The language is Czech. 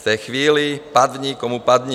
V té chvíli padni komu padni."